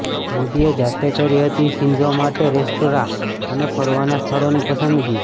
મોદીએ જાતે કરી હતી શિન્ઝો માટે રેસ્ટોરાં અને ફરવાના સ્થળોની પસંદગી